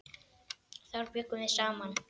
Þar bjuggum við saman.